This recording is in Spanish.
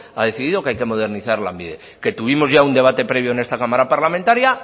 ha decidido que hay que modernizar lanbide que tuvimos ya un debate previo en esta cámara parlamentaria